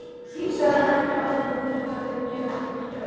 Sagðirðu ekki áðan að þér hefði verið gefið þetta hjól?